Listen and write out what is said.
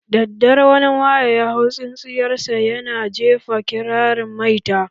Daddare, wani maye ya hau tsintsiyar sa ya na jefa kirarin maita